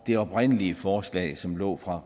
det oprindelige forslag som lå fra